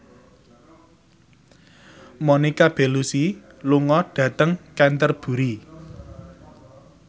Monica Belluci lunga dhateng Canterbury